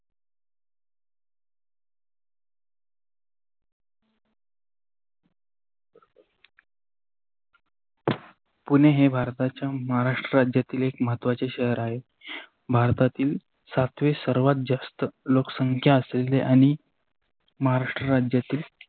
पुणे हे भारताच्या महाराष्ट्र राज्यतील महत्त्वाचे शहर आहे. भारतातील सातवे सर्वात जास्त लोकसंख्या असलेल्या आणि महाराष्ट्र राज्यातील